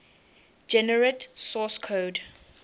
generate source code